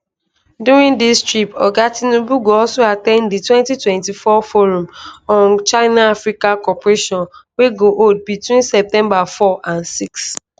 during dis trip oga tinubu go also at ten d di 2024 forum on chinaafrica cooperation wey go hold between september 4 and 6